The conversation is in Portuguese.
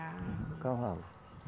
Cavalo